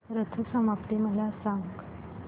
रथ सप्तमी मला सांग